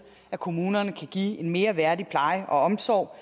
at kommunerne kan give en mere værdig pleje og omsorg